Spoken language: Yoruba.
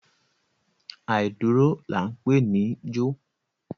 Àìdúró là ń pè níjó.